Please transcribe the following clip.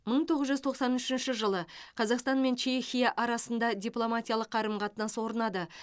мың тоғыз жүз тоқсан үшінші жылы қазақстан мен чехия арасында дипломатиялық қарым қатынас орнады